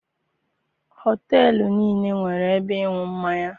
Họteelụ niile nwere ebe ịṅụ mmanya.